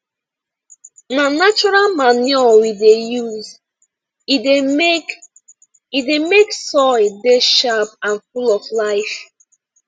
na natural manure we dey use e dey make e dey make soil dey sharp and full of life